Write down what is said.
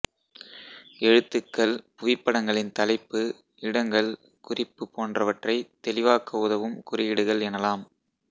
எழுத்துக்கள் புவிப்படங்களின் தலைப்பு இடங்கள் குறிப்பு போன்றவற்றைத் தெளிவாக்க உதவும் குறியீடுகள் எனலாம்